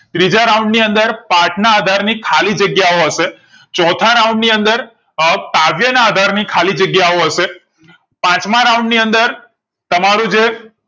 ત્રીજા round ની અંદર પાથ ના આધાર ની ખાલી જગ્યાઓ હશે ચોથા round ની અંદર અ કાવ્ય ના આધાર ની ખાલી જગ્યાઓ હશે પાંચમા round ની અંદર તમારું જે